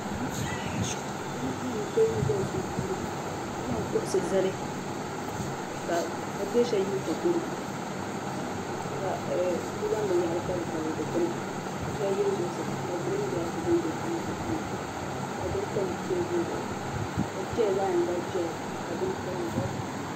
Duzzpu ka. bi zaŋ teebuli zali sun suuni, kazaŋ kuɣisi zali kaa pa teesa yili ta kɔrɔ, ka bizaŋ bin yahiri tabili tabili di kpina ka sheli yili zuɣu saa ka green gras. be bi guli nyaaŋsi maa ka bini tam teebuli zuɣu ka cheya zaɣi yiŋga. zɛya ka bin pa dizuɣu. ,